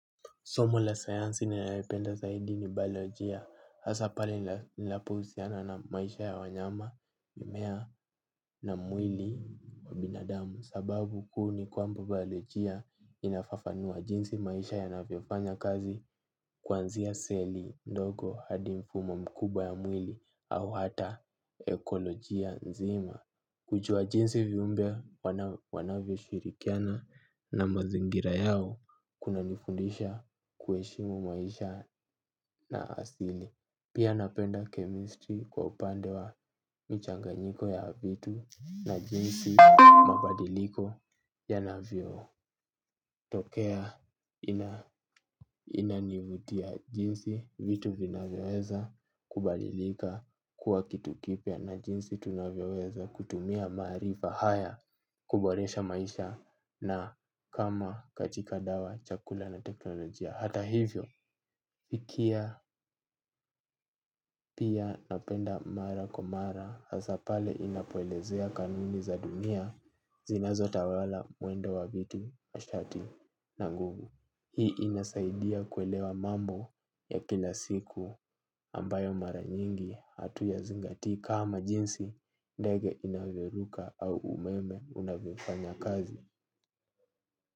Somo la science ninaipenda zaidi ni baojia, hasa pale inapohusiana na maisha ya wanyama, mimea na mwili wa binadamu. Sababu kuu ni kwamba baojia inafafanua jinsi maisha yanavyofanya kazi kuanzia seli ndogo hadi mfumo mkubwa ya mwili au hata ekolojia nzima. Kujua jinsi viumbe wanavyoshirikiana na mazingira yao kunanifundisha kuheshimu maisha na asili. Pia napenda chemistry kwa upande wa michanganyiko ya vitu na jinsi mabadiliko yanavyotokea. Inanivutia jinsi vitu vinaweweza kubalilika kuwa kitu kipya na jinsi tunavyeweza kutumia maarifa haya kuboresha maisha na kama katika dawa, chakula na teknolojia. Hata hivyo, ikia pia napenda mara kwa mara hasa pale inapoelezea kanuni za dunia zinazo tawala mwendo wa vitu, nishati na nguvu. Hii inasaidia kuelewa mambo ya kila siku ambayo mara nyingi hatuyazingatii kama jinsi ndege inavyoruka au umeme unavyofanya kazi.